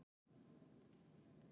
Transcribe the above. Því er Dagur ekki sammála.